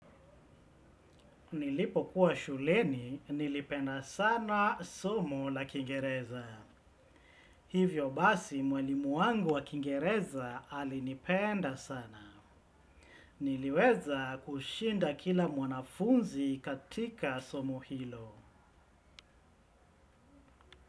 Nilipokuwa shuleni, nilipenda sana somo la kiingereza. Hivyo basi mwalimu wangu wa kiingereza alinipenda sana. Niliweza kushinda kila mwanafunzi katika somo hilo.